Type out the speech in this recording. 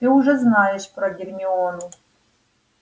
ты уже знаешь про гермиону